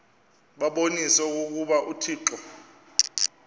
babonise okokuba uthixo